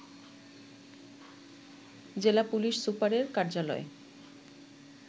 জেলা পুলিশ সুপারের কার্যালয়ে